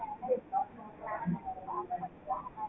galaxy plan உ பத்தி எல்லாம்